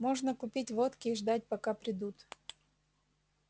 можно купить водки и ждать пока придут